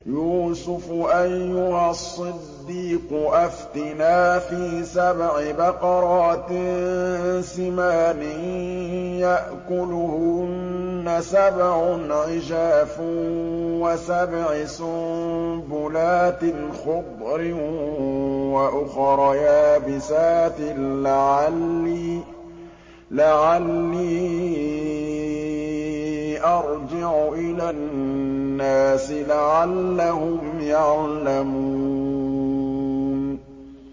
يُوسُفُ أَيُّهَا الصِّدِّيقُ أَفْتِنَا فِي سَبْعِ بَقَرَاتٍ سِمَانٍ يَأْكُلُهُنَّ سَبْعٌ عِجَافٌ وَسَبْعِ سُنبُلَاتٍ خُضْرٍ وَأُخَرَ يَابِسَاتٍ لَّعَلِّي أَرْجِعُ إِلَى النَّاسِ لَعَلَّهُمْ يَعْلَمُونَ